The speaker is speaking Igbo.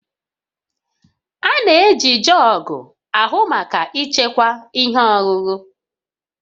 A na-eji jọọgụ ahụ maka ịchekwa ihe ọṅụṅụ